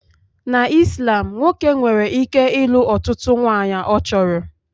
Na Islam nwoke nwere ike ịlụ ọtụtụ nwunye ọ chọrọ